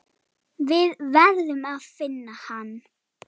Við verðum að finna hann.